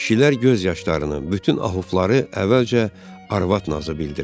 Kişilər göz yaşlarını, bütün ahufları əvvəlcə arvad nazı bildilər.